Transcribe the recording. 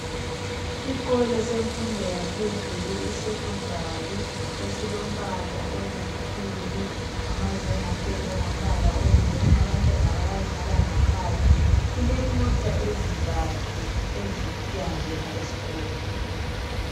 Isikolo semfundo yaphezulu i secondary esilombala oluthuli, amazenge apendwe ngombala oyi marron, abantwana bayadlala ngaphandle. Kulemota ezintathu eziyangena eskolo.